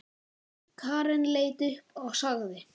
Karen leit upp og sagði